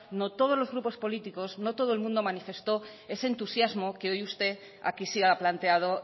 no todos los grupos políticos no todo el mundo manifestó ese entusiasmo que hoy usted aquí sí ha planteado